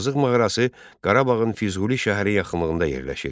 Azıq mağarası Qarabağın Füzuli şəhəri yaxınlığında yerləşir.